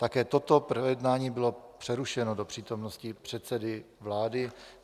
Také toto projednání bylo přerušeno do přítomnosti předsedy vlády.